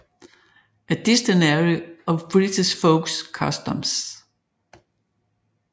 A Dictionary of British Folk Customs